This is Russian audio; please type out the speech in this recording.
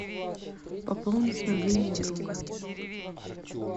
пополнить мобильный друга